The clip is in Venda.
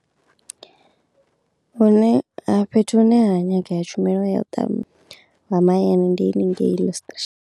Hune ha fhethu hune ha nyageya tshumelo ya u mahayani ndi haningei Louis Trichard.